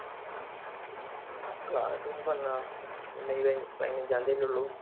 Class ഇനി ഇപ്പോ എന്നാ? മെയ് പതിനഞ്ചതിയതി അല്ലേ ഉള്ളു?